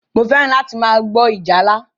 Mo fẹ́ràn láti máa gbọ́ ìjálá.